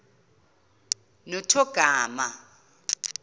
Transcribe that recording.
nothogarma